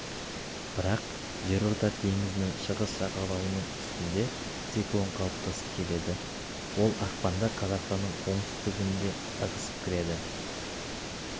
бірақ жерорта теңізінің шығыс жағалауының үстінде циклон қалыптасып келеді ол ақпанда қазақстанның оңтүстігіне ығысып кіреді